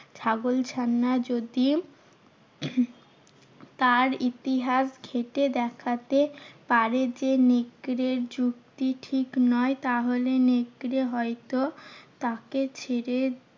ছাগল ছানা যদি তার ইতিহাস ঘেঁটে দেখাতে পারে যে, নেকড়ের যুক্তি ঠিক নয় তাহলে নেকড়ে হয়তো তাকে ছেড়ে